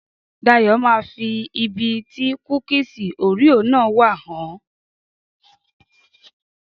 Dayọ̀ máa fi ibi tí kúkìsì Orea náà wà hàn ọ́.